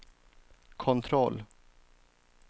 kontroll